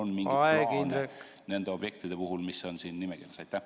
Kas ministeeriumil on mingi plaan nende objektide puhul, mis on siin nimekirjas?